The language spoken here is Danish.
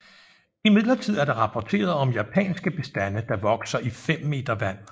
Imidlertid er der rapporteret om japanske bestande der vokser i 5 m vand